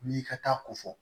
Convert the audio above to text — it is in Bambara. N'i ka taa ko fɔ